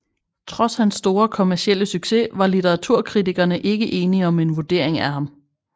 Trods hans store kommercielle succes var litteraturkritikerne ikke enige om en vurdering af ham